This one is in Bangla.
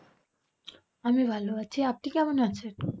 আমি ভালো আছি। আপনি কেমন আছেন?